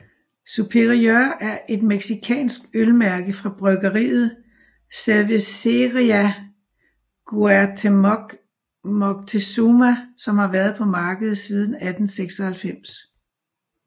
Superior er et mexicansk øl mærke fra bryggeriet Cervecería Cuauhtémoc Moctezuma som har været på markedet siden 1896